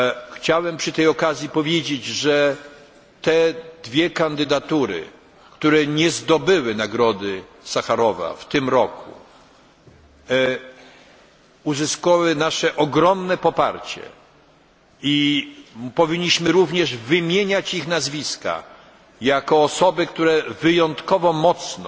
Chciałem przy tej okazji powiedzieć, że te dwie kandydatury, które nie zdobyły nagrody Sacharowa w tym roku, uzyskały nasze ogromne poparcie i powinniśmy również wymieniać ich nazwiska jako osób, które wyjątkowo mocno